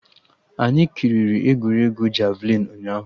Anyị kiriri egwuregwu javịlịn ụnyaahụ